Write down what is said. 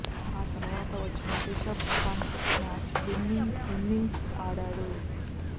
ఆ తర్వాత వచ్చిన Rishabh Pant match winning innings ఆడాడు